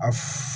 A